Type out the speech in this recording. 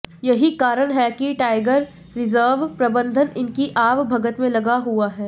यही कारण है कि टाईगर रिजर्व प्रबंधन इनकी आव भगत में लगा हुआ है